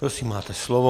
Prosím, máte slovo.